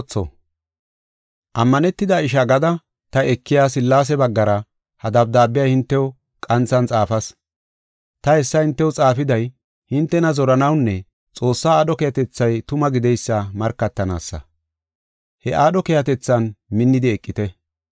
Ammanetida ishaa gada ta ekiya Sillaase baggara ha dabdaabiya hintew qanthan xaafas. Ta hessa hintew xaafiday, hintena zoranawunne Xoossaa aadho keehatethay tuma gideysa markatanaasa. He aadho keehatethan minnidi eqite.